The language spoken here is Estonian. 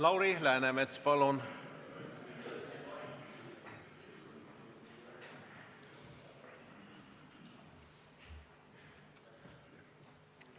Lauri Läänemets, palun!